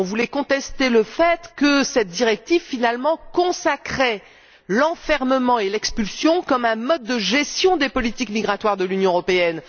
Nous voulions contester le fait que cette directive consacrait au fond l'enfermement et l'expulsion comme un mode de gestion des politiques migratoires de l'Union européenne.